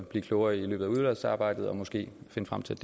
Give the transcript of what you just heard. blive klogere i løbet af udvalgsarbejdet og måske finde frem til